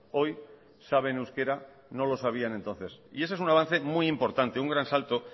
hoy saben euskera no lo sabían entonces y ese es un avance muy importante un gran salto